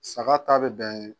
Saga ta bɛ bɛn